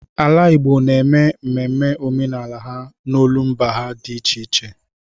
Ala Igbo na-eme ememe omenala ha n'olumba ha dị iche iche.